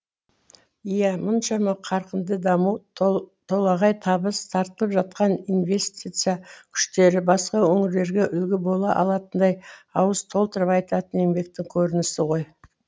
иә мұншама қарқынды даму толағай табыс тартылып жатқан инвестиция күштері басқа өңірлерге үлгі бола алатындай ауыз толтырып айтатын еңбектің көрінісі ғой